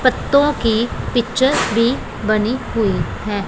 पत्तो की पिक्चर्स भी बनी हुई है।